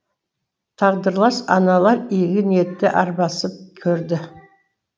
тағдырлас аналар игі ниетте арбасып көрді